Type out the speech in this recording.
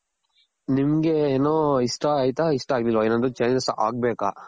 ನಿಮ್ಗೆ ಏನು ಇಷ್ಟ ಆಯ್ತಾ ಇಷ್ಟ ಆಗಿಲ್ವ ಎನಾದ್ರು changes ಆಗ್ಬೇಕ.